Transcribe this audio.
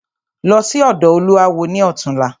Lọ sí ọ̀dọ̀ olúawo ni ọ̀túnla!